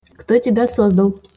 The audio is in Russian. кто тебя создал